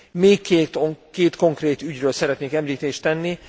Még két konkrét ügyről szeretnék említést tenni.